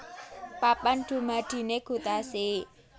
Papan dumadiné gutasi